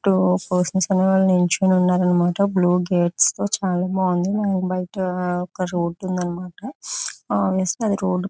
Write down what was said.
నించొని ఉన్నారన్నమాట blue gates తో చాలా బాగుంది అండ్ బయట ఒక రోడ్డు ఉంది అన్నమాట ఆ రోడ్డు .